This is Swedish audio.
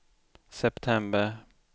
september